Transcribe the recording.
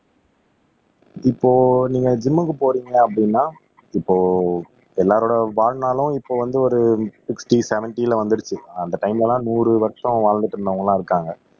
இப்போ நீங்க ஜிம்க்கு போறீங்க அப்படின்னா இப்போ எல்லாரோட வாழ்நாளும் இப்போ வந்து ஒரு சிக்ஸ்ட்டி செவென்ட்டில வந்திருச்சு அந்த டைம்ல எல்லாம் நூறு வருஷம் வாழ்ந்துட்டு இருந்தவங்க எல்லாம் இருக்காங்க